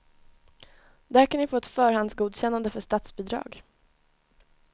Där kan ni få ett förhandsgodkännande för statsbidrag.